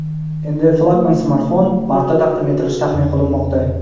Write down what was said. Endi flagman smartfon martda taqdim etilishi taxmin qilinmoqda.